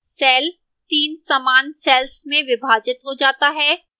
cell 3 समान cells में विभाजित हो जाता है